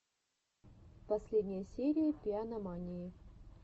последняя серия пианомании